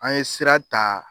An ye sira ta